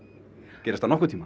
gerist það nokkurn tímann